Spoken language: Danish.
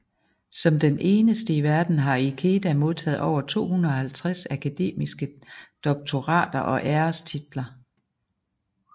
Som den eneste i verden har Ikeda modtaget over 250 akademiske doktorater og ærestitler